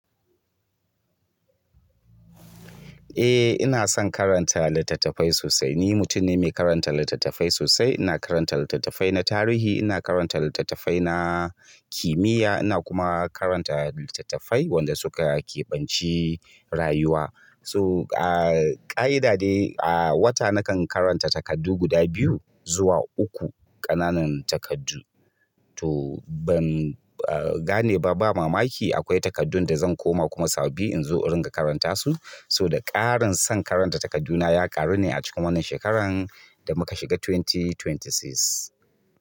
Eh ina son karanta littattafai sosai. Ni mutum ne mai karanta littattafai sosai. Ina karanta littattafai na tarihi, ina katanta littattafai na kimiya, ina kuma karanta littattafai wanda suka kebanci rauwa so a ƙa'ida dai a wata nakan karanta takardu guda biyu zuwa uku ƙananan takardu. To ban gane ba ba mamaki akwai takardun da zan koma kuma sababbi in zo in ringa karanta su. So da ƙarin son karanta takardu na ya ƙaru ne a cikin wannan shekaran da muka shiga dubu biyu da ashirin da uku.